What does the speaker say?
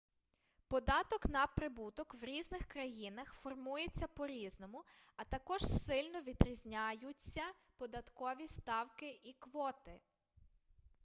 податок на прибуток в різних країнах формується по різному а також сильно відрізняються податкові ставки і квоти